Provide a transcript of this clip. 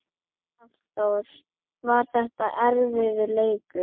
Hafþór: Var þetta erfiður leikur?